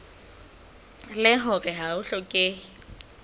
leng hore ha ho hlokehe